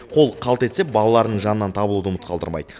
қолы қалт етсе балаларының жанынан табылуды ұмыт қалдырмайды